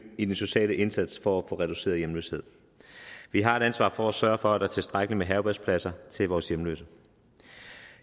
i den sociale indsats for at få reduceret hjemløshed vi har et ansvar for sørge for at der er tilstrækkelig med herbergspladser til vores hjemløse